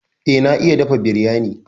Eh, na iya dafa biryani.